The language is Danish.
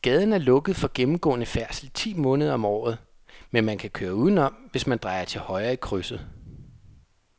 Gaden er lukket for gennemgående færdsel ti måneder om året, men man kan køre udenom, hvis man drejer til højre i krydset.